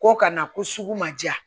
Ko ka na ko sugu ma diya